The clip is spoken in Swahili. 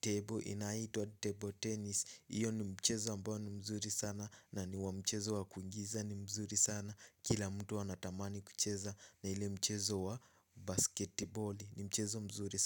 table inaitwa table tennis. Iyo ni mchezo ambao ni mzuri sana na ni wa mchezo wa kuingiza ni mzuri sana, kila mtu huwa anatamani kucheza na ule mchezo wa basketiboli ni mchezo mzuri sana.